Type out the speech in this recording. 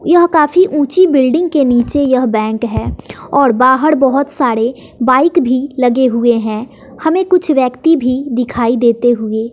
यह काफी ऊंची बिल्डिंग के नीचे यह बैंक है और बाहर बहुत सारे बाइक भी लगे हुए हैं हमें कुछ व्यक्ति भी दिखाई देते हुए--